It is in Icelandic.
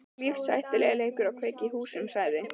Það er lífshættulegur leikur að kveikja í húsum sagði